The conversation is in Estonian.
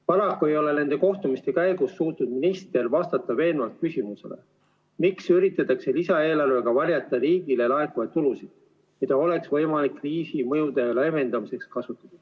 Paraku ei ole nende kohtumiste käigus suutnud minister vastata veenvalt küsimusele, miks üritatakse lisaeelarvega varjata riigile laekuvaid tulusid, mida oleks võimalik kriisi mõjude leevendamiseks kasutada.